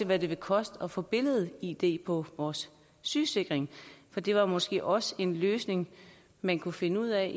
hvad det ville koste at få billed id på vores sygesikringskort for det var måske også en løsning man kunne finde ud af